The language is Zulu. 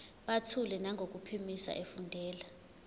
buthule nangokuphimisa efundela